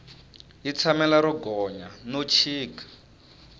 yi tshamela ro gonya no chika